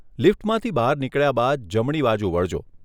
લિફ્ટમાંથી બહાર નીકળ્યા બાદ જમણી બાજુ વળજો.